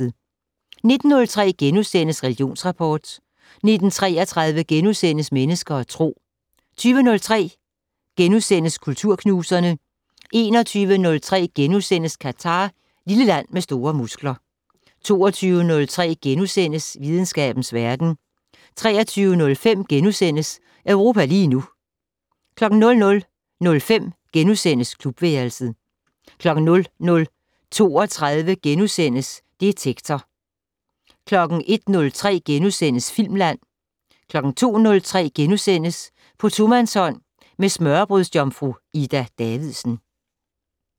19:03: Religionsrapport * 19:33: Mennesker og Tro * 20:03: Kulturknuserne * 21:03: Qatar - lille land med store muskler * 22:03: Videnskabens verden * 23:05: Europa lige nu * 00:05: Klubværelset * 00:32: Detektor * 01:03: Filmland * 02:03: På tomandshånd med smørrebrødsjomfru Ida Davidsen *